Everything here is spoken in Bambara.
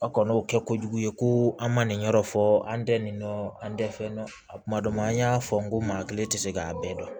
A kɔni y'o kɛ kojugu ye ko an ma nin yɔrɔ fɔ an tɛ nin nɔ an tɛ fɛn dɔn a kuma dɔ la an y'a fɔ n ko maa hakili tɛ se k'a bɛɛ dɔn